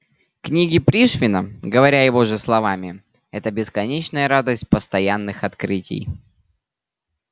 книги пришвина говоря его же словами это бесконечная радость постоянных открытий